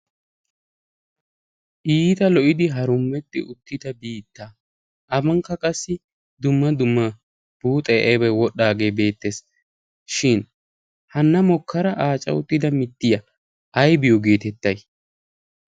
iita lo''idi harummetti uttida biitta afankka qassi dumma dumma buuxe aybay wodhdhaagee beettees shin hanna mokkara aaca uttida mittiya aybiyo geetettay